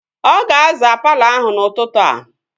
Ọ ga-azaa palọ ahụ n'ụtụtụ a